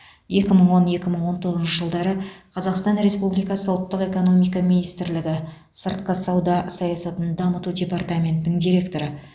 екі мың он екі мың он тоғызыншы жылдары қазақстан республикасы ұлттық экономика министрлігі сыртқы сауда саясатын дамыту департаментінің директоры